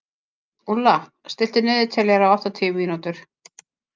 Úlla, stilltu niðurteljara á áttatíu mínútur.